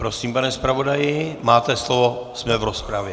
Prosím, pane zpravodaji, máte slovo, jsme v rozpravě.